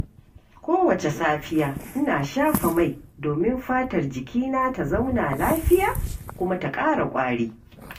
Kowace safiya, ina shafa mai, domin fatar jikina ta zauna lafiya kuma ta ƙara ƙwari.